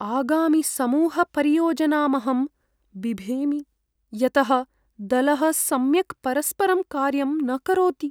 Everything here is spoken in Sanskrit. आगामिसमूहपरियोजनामहं बिभेमि यतः दलः सम्यक् परस्परं कार्यं न करोति।